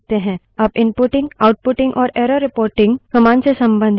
अब inputting outputting और error reporting commands से संबंधित तीन विशेष कार्य हैं